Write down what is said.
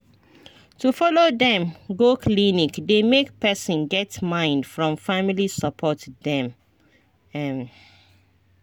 to follow dem go clinic dey make person get mind from family support dem ehn